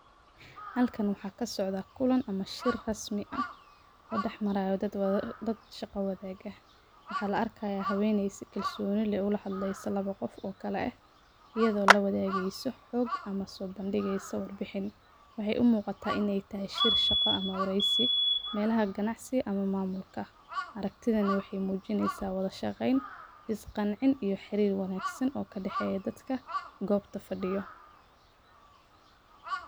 Halkan waxaa kasocda kulan ama shir rasmi ah oo dax maraya dad shaqa wadhaga waxaa la arki haya haweney ola hadleysa si kalsoni eh lawa qof iyada oo lawadhageso xog ama sobandigin, waxee u muqataa in ee taho shir shaqo ama wareysi melaha ganacsi ama mamulka aragtidhan waxee mujineysa wadha shaqen isqancin iyo xirir wanagsan oo kadaxeya dadka gobta fadiyo.